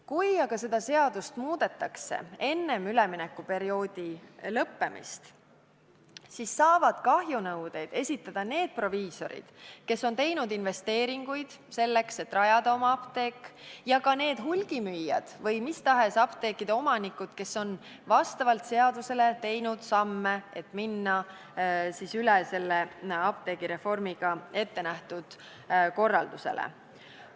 Kui aga seda seadust tõesti muudetakse enne üleminekuperioodi lõppemist, siis saavad kahjunõudeid esitada need proviisorid, kes on teinud investeeringuid selleks, et rajada oma apteek, ja ka need hulgimüüjad või mis tahes apteekide omanikud, kes on vastavalt seadusele teinud samme, et minna üle apteegireformiga ette nähtud korraldusele.